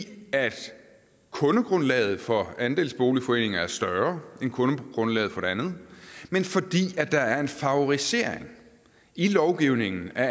kundegrundlaget for andelsboligforeninger er større end kundegrundlaget for det andet men fordi der er en favorisering i lovgivningen af